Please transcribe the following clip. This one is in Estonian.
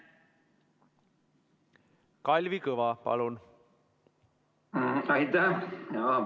Kalvi Kõva, palun!